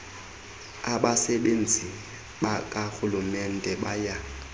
abasebenzi bakarhulumente baya